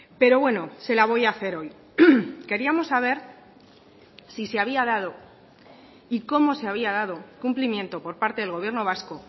pero bueno se la voy a hacer hoy queríamos saber si se había dado y cómo se había dado cumplimiento por parte del gobierno vasco